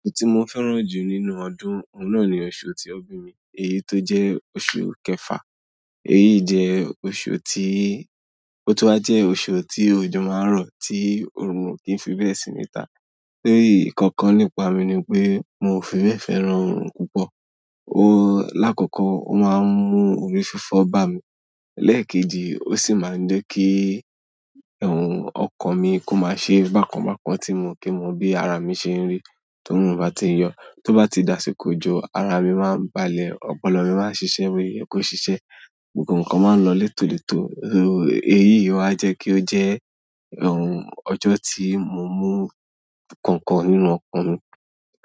Oṣù tí mo fẹ́ràn jù nínú ọdún, òun náà ni oṣù tí wón bí mi, èyí tó jẹ́ oṣù kẹfà. Èyí jẹ́ oṣù tí, ó tún wa jẹ́ oṣù tí ojo máa ń rọ̀, tí oorun kì fi bẹ́ẹ̀ sì ni ta. Léyì, nkankan nípa mi ni pé mo fi bẹ́ẹ̀ fẹ́ràn oorun púpọ̀. Lákòókò, ó máa ń mú orí fífọ́ bá mi. Lẹ́ẹ̀kejì, ó sì máa ń jẹ́ kí ọkàn mi kó má ṣe bákan bákan tí mo kí mo bí ara mi ṣe ń rí to run bá ti ń yọ. To ba ti di àsìkò ojo ara mi maa n balẹ̀ opolo mi maa n sise bo ye ko sise, gbogbo nkan maa n lo leto leto. Ẹ̀yí o wa jẹ́ kí ó jẹ́ ọjọ́ tí mo mú kankan nínú ọkàn mi.